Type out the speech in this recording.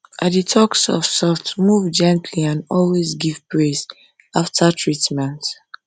i dey talk softsoft move gently and always give praise after treatment